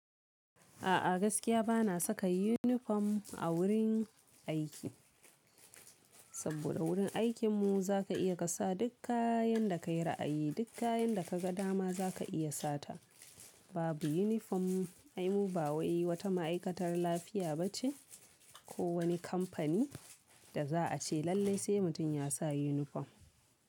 A'a gaskiya bana saka uniform a wurin aiki, saboda wurin aikin mu zaka iya ka sa duk kayan da ka yi ra'ayi, duk kayan da ka ga dama zaka iya sata. Babu uniform, ai mu ba wai wata ma'aikatar lafiya ba ce ko wani kamfani, da za a ce lallai sai mutum ya sa uniform.